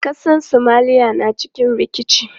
Ƙasar Somalia na cikin rikici.